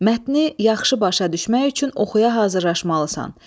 Mətni yaxşı başa düşmək üçün oxuya hazırlaşmalısan.